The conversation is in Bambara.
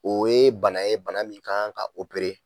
O ye bana ye bana min kan ka oopere